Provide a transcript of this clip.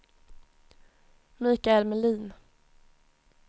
Michael Melin